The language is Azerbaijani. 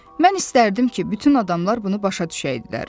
Mən istərdim ki, bütün adamlar bunu başa düşəydilər.